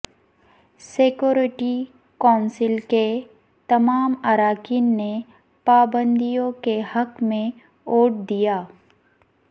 security council کے تمام اراکین نے پابندیوں کے حق میں ووٹ دیا